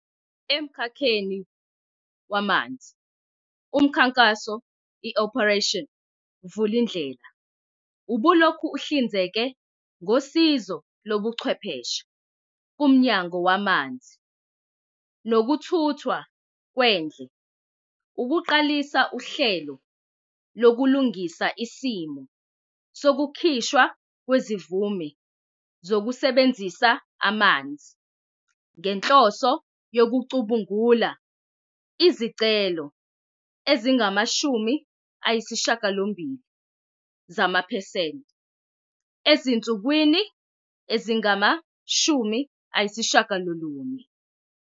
Emkhakheni wamanzi, umkhankaso i-Operation Vulindlela ubulokhu uhlinzeka ngosizo lobuchwepheshe kuMnyango Wamanzi Nokuthuthwa Kwendle ukuqalisa uhlelo lokulungisa isimo sokukhishwa kwezimvume zokusebenzisa amanzi, ngenhloso yokucubungula izicelo ezingama-80 zamaphesenti ezinsukwini ezingama-90.